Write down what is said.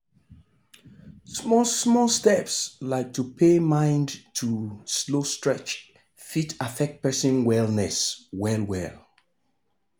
small-small steps like to pay mind to slow stretch fit affect person wellness well-well.